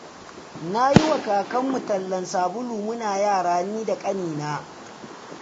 Na yi wa kakarmu tallan sabulu muna yara ni da ƙanina.